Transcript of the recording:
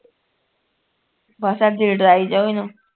ਬਸ ਅੱਜ ਇਹ ਡਰਾਈ ਜਾਓ ਇਹਨੂੰ